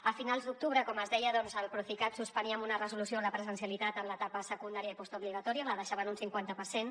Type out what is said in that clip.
a finals d’octubre com es deia el procicat suspenia amb una resolució la presencialitat en l’etapa secundària i postobligatòria la deixava en un cinquanta per cent